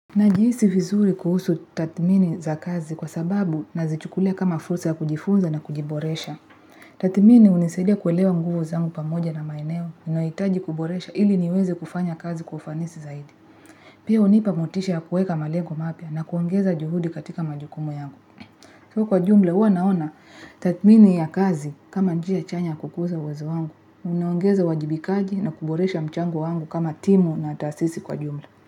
Najihisi viizuri kuhusu tathmini za kazi kwasababu nazichukulia kama fursa ya kujifunza na kujiboresha. Tathmini hunisaidia kuelewa nguvu zangu pamoja na maeneo ninayohitaji kuboresha ili niweze kufanya kazi kwa ufanisi zaidi. Pia hunipa motisha ya kuweka malengo mapya na kuongeza juhudi katika majukumu yangu. Kwa jumla, huwa naona tathmini ya kazi kama njia chanya ya kukuza uwezo wangu. Unaongeza uwajibikaji na kuboresha mchango wangu kama timu na taasisi kwa jumla.